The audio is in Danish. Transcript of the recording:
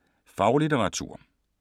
Faglitteratur